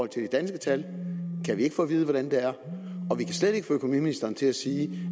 til de danske tal kan vi ikke få at vide hvordan det er og kan slet ikke få økonomiministeren til at sige